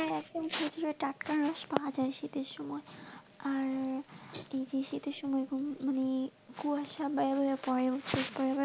হ্যাঁ একদম ঠিক টাটকা পাওয়া যাই শীতের সময় আর এই যে শীতের সময় মানে কুয়াশা বাড়ে বাড়ে পরে ও.